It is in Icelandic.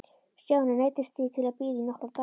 Stjáni neyddist því til að bíða í nokkra daga.